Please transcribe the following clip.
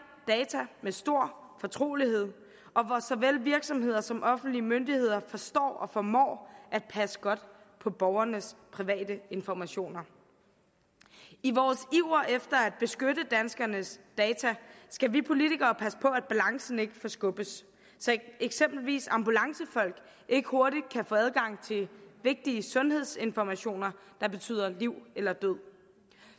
data med stor fortrolighed og hvor såvel virksomheder som offentlige myndigheder forstår og formår at passe godt på borgernes private informationer i vores iver efter at beskytte danskernes data skal vi politikere passe på at balancen ikke forskubbes så eksempelvis ambulancefolk ikke hurtigt kan få adgang til vigtige sundhedsinformationer der betyder liv eller død